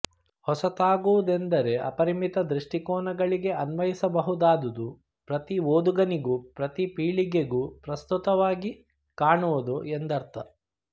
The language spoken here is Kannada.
ಹೊಸತಾಗುವುದೆಂದರೆ ಅಪರಿಮಿತ ದೃಷ್ಟಿಕೋನಗಳಿಗೆ ಅನ್ವಯಿಸಬಹುದಾದುದು ಪ್ರತಿ ಓದುಗನಿಗೂ ಪ್ರತಿ ಪೀಳಿಗೆಗೂ ಪ್ರಸ್ತುತವಾಗಿ ಕಾಣುವುದು ಎಂದರ್ಥ